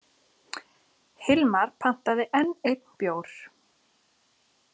Hilmar pantaði enn einn bjór.